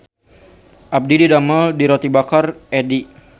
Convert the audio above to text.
Abdi didamel di Roti Bakar Eddy